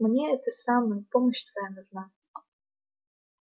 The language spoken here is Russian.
мне это самое помощь твоя нужна